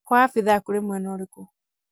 kwa abitha kũrĩ mwena ũrĩkũ?